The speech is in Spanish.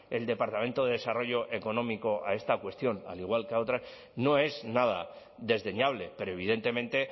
el departamento de desarrollo económico a esta cuestión al igual que a otras no es nada desdeñable pero evidentemente